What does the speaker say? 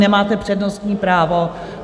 Nemáte přednostní právo.